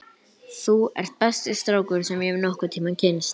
Þú ert besti strákur sem ég hef nokkurn tíma kynnst!